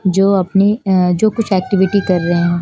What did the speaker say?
जो अपनी अः जो कुछ एक्टिविटी कर रहे है--